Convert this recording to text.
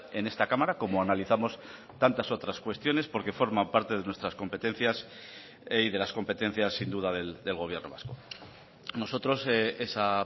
en esta cámara como analizamos tantas otras cuestiones porque forman parte de nuestras competencias y de las competencias sin duda del gobierno vasco nosotros esa